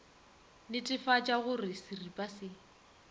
netefatša go re seripa se